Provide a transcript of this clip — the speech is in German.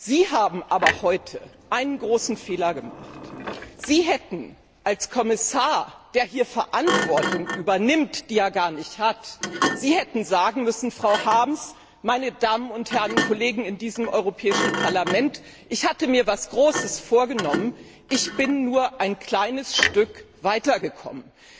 Sie haben aber heute einen großen Fehler gemacht Sie hätten als Kommissar, der hier eine Verantwortung übernimmt, die er gar nicht hat, sagen müssen Frau Harms, meine Damen und Herren Kollegen in diesem Europäischen Parlament, ich hatte mir etwas Großes vorgenommen, ich bin nur ein kleines Stück weitergekommen.